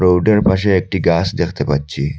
রোডের পাশে একটি গাস দেখতে পাচ্ছি।